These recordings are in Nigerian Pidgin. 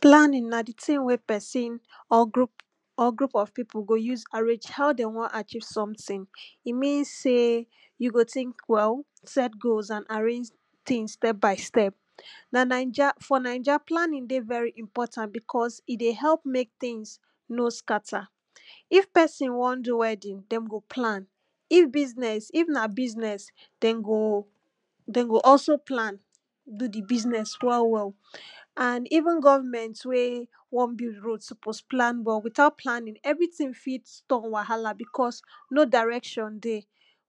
Planning, na di thing wey person or group, or group of pipo go use arrange how de wan achieve something, e mean sey, you go think well, set goals and arrange things step by step. Na naija, for naija planning dey very important because, e dey help mek things no scatter, if person wan do wedding dem go plan, if business, if na business den go, dem go also plan do di business well well and even government wey wan build road suppose plan well, without planning everything fit turn wahala because no direction dey.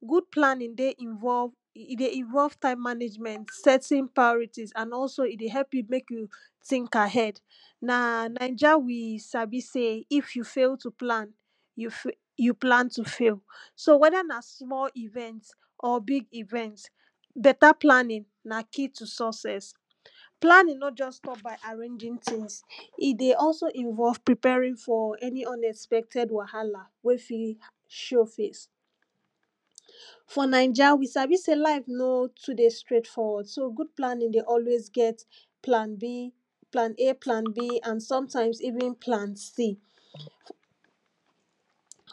Good planning dey involve, e dey involve time management, setting priorities and also e dey help you mek you think ahead. Na naija we sabi sey, if you fail to plan, you fail, you plan to fail. So wether na small event or big event, better planning na key to success, planning no just stop by arranging things, e dey also involve preparing for any unexpected wahala wey fit show face. For naija we sabi sey life no too dey straight forward, so good planning dey always get plan B, plan A, plan B and sometimes even plan C.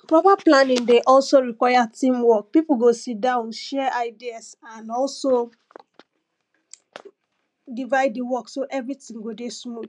proper planning dey also require team work, pipu go sit down share ideas and also divide di work so everything go dey smooth.